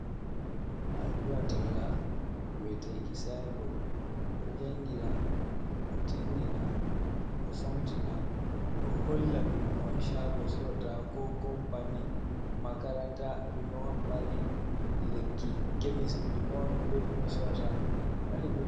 Alluha talla wi'eteki sainbot. Ɗo jangina, ɗo tindina, ɗo famtina, ɗo holla ɗume on shaago sorata, ko kompani, makaranta ɗume on mari, lekki; kemis ɗume on ɓe ɗume ɓe sorata.